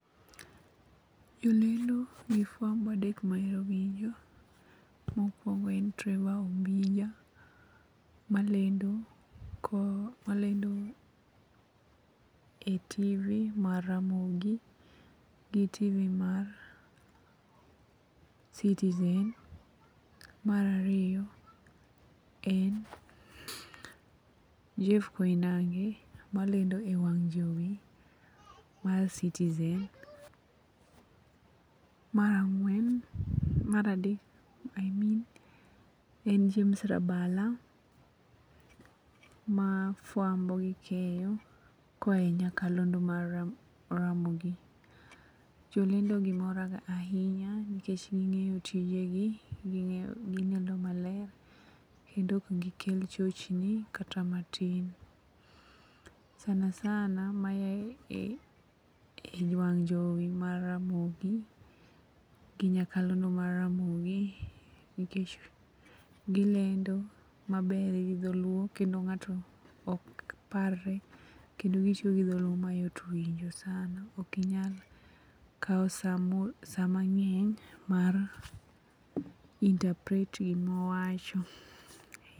Jolendo gi fwambo adek mahero winjo: Mokwongo en Trevor Ombija, malendo e Tv mar Ramogi gi Tv mar Citizen. Mar ariyo en Jeff Koinange, malendo e wang' jowi mar Citizen. Mar adek i mean en James Rabala, ma fuambo gi keyo koaye nyakalondo mar Ramogi. Jolendogi moraga ahinya nikech ging'eyo tijegi gilendo maler kendo ok gikel chochni kata matin sana sana maya wang' jowi mar Ramogi gi nyakalondo mar Ramogi nikech gilendo maber gi dholuo kendo ng'ato ok parre kendo gitiyo gi dholuo mayot winjo sana ok inyal kawo sa mang'eny mar interpret gima owacho.